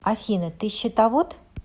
афина ты счетовод